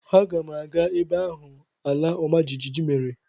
Aga m aga ebe ahụ ala ọma jijiji mere.